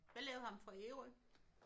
Hvad lavede ham fra Ærø?